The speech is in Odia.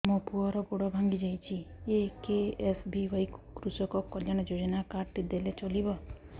ମୋ ପୁଅର ଗୋଡ଼ ଭାଙ୍ଗି ଯାଇଛି ଏ କେ.ଏସ୍.ବି.ୱାଇ କୃଷକ କଲ୍ୟାଣ ଯୋଜନା କାର୍ଡ ଟି ଦେଲେ ଚଳିବ